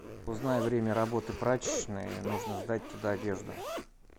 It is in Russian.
узнай время работы прачечной нужно сдать туда одежду